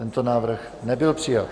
Tento návrh nebyl přijat.